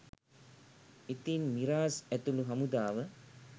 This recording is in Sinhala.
ඉතින් මිරාස් ඇතුලු හමුදාව